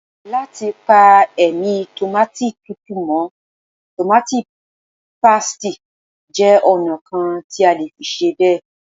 Láti pa ẹ̀mí Tòmáátì tútù mọ́, tòmáátì pásítìì jẹ́ ọ̀nà kan tí a lè fi ṣe bẹ́ẹ̀.